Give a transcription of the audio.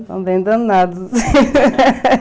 São bem danados.